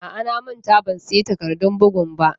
A'a, na manta ban siya takardun bugun ba.